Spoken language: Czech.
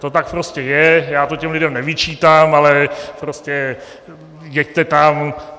To tak prostě je, já to těm lidem nevyčítám, ale prostě jeďte tam.